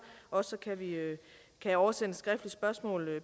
også kan jeg oversende et skriftligt spørgsmål